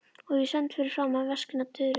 Og ég stend fyrir framan veskin og tuðrurnar.